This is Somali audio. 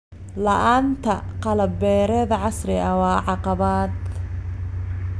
La'aanta qalab beereed casri ah waa caqabad.